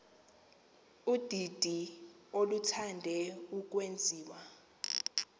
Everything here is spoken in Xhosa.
ludidi oluthande ukwenziwa